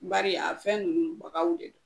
Bari a fɛn ninnu bagaw de don